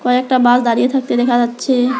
কয়েকটা বাস দাঁড়িয়ে থাকতে দেখা যাচ্ছে।